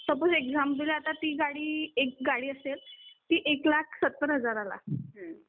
suppose example आता ती गाडी, असेल एक गाडी असेल ती एक लाख सत्तर हजारला आ ती डिलर ला फक्तं एक लाख सत्तर हजारला